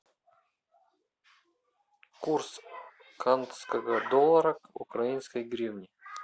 курс канского доллара к украинской гривне